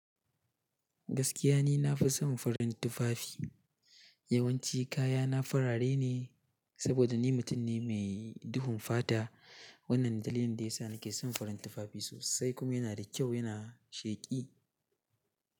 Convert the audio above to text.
Gaskiya ni na fi son farin tufafi. Yawanci kayana farare ne saboda ni mutum ne mae duhun fata. Wannan dalilin da ya sa nake son farin tufafi sosai kuma yana da kyau, yana sheki.